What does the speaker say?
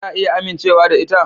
Za a iya amincewa da ita?